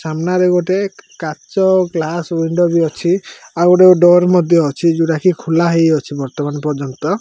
ସାମ୍ମାନ ରେ ଗୋଟେ କାଚ ଗ୍ଲାସ ଉଇଣ୍ଡୋ ଵି ଅଛି ଆଉ ଗୋଟେ ଡୋର ମଧ୍ୟ ଅଛି ଯେଉଁଟା କି ଖୋଲ ହେଇଅଛି ବାର୍ତ୍ତମାନ ପର୍ଯ୍ୟନ୍ତ।